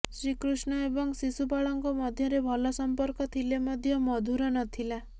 ଶ୍ରୀକୃଷ୍ଣ ଏବଂ ଶିଶୁପାଳଙ୍କ ମଧ୍ୟରେ ଭଲ ସଂପର୍କ ଥିଲେ ମଧ୍ୟ ମଧୁର ନଥିଲା